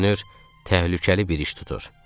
Görünür, təhlükəli bir iş tutur.